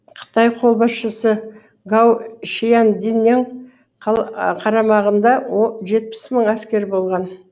қытай қолбасшысы гау шиянденнің қарамағында жетпіс мың әскер болған